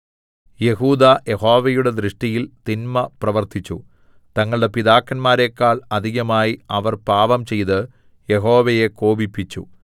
യെഹൂദാ യഹോവയുടെ ദൃഷ്ടിയിൽ തിന്മ പ്രവർത്തിച്ചു തങ്ങളുടെ പിതാക്കന്മാരെക്കാൾ അധികമായി അവർ പാപംചെയ്ത് യഹോവയെ കോപിപ്പിച്ചു